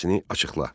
İfadəni açıqla.